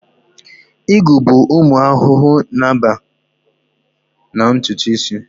Igwu bụ ụmụ ahụhụ na-amụba na ntutu isi